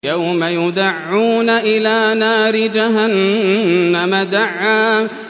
يَوْمَ يُدَعُّونَ إِلَىٰ نَارِ جَهَنَّمَ دَعًّا